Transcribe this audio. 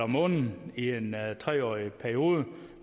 måneden i en tre årig periode